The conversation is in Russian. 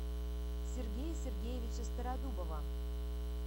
сергея сергеевича стародубова